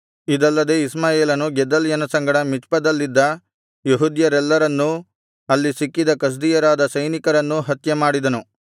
ಇದಲ್ಲದೆ ಇಷ್ಮಾಯೇಲನು ಗೆದಲ್ಯನ ಸಂಗಡ ಮಿಚ್ಪದಲ್ಲಿದ್ದ ಯೆಹೂದ್ಯರೆಲ್ಲರನ್ನೂ ಅಲ್ಲಿ ಸಿಕ್ಕಿದ ಕಸ್ದೀಯರಾದ ಸೈನಿಕರನ್ನೂ ಹತ್ಯೆಮಾಡಿದನು